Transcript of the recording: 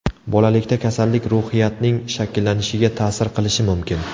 Bolalikda kasallik ruhiyatning shakllanishiga ta’sir qilishi mumkin.